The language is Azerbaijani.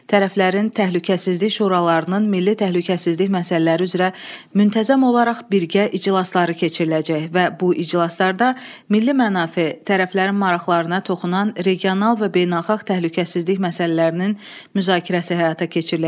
Tərəflərin təhlükəsizlik şuralarının milli təhlükəsizlik məsələləri üzrə müntəzəm olaraq birgə iclasları keçiriləcək və bu iclaslarda milli mənafe, tərəflərin maraqlarına toxunan regional və beynəlxalq təhlükəsizlik məsələlərinin müzakirəsi həyata keçiriləcək.